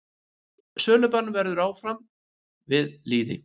Sölubann verður áfram við lýði.